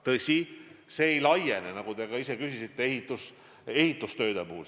Tõsi, see ei laiene, nagu te viitasite, ehitustöödele.